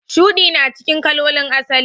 Shudi na cikin kalolin asali.